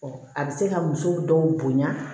a bɛ se ka muso dɔw bonya